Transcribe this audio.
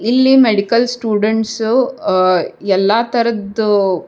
ಇಲ್ಲಿ medical students ಅಹ್ಹ ಎಲ್ಲ ತರದ್ದು --